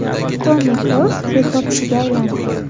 Toni Kroos rekordchiga aylandi.